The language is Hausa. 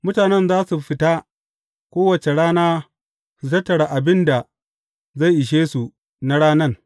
Mutanen za su fita kowace rana su tattara abin da zai ishe su na ranan.